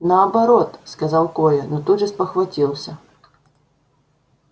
наоборот сказал коля но тут же спохватился